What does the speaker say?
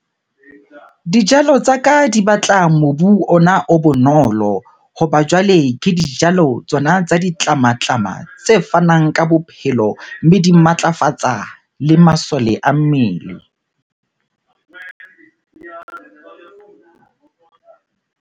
Dijalo tsa ka di batla mobu ona o bonolo. Hoba jwale ke dijalo tsona tsa ditlamatlama tse fanang ka bophelo, mme di matlafatsa le masole a mmele.